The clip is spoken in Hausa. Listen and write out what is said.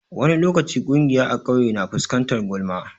Wani lokaci ƙungiya a ƙauye na fuskantar gulma.